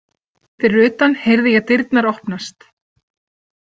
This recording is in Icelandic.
Fyrir utan heyrði ég dyrnar opnast.